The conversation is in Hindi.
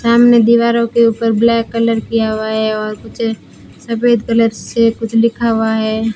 सामने दीवारों के ऊपर ब्लैक कलर किया हुआ है और कुछ सफेद कलर से कुछ लिखा हुआ है।